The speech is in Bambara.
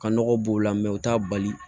Ka nɔgɔ b'o la u t'a bali